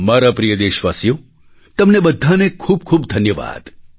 મારા પ્રિય દેશવાસીઓ તમને બધાને ખૂબ ખૂબ ધન્યવાદ